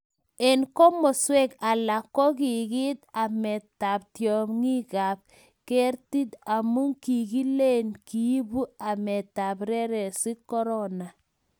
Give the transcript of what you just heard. Eng' komoswek alak ko kikiet ametab tyong'ikab kerti amu kikileni kiibu ametab reresik korona